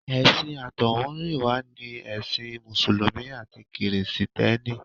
Ẹ̀sìn àtọ̀húnrìnwá ni ẹ̀sìn mùsùlùmí àti kìrìsìtẹ́nì.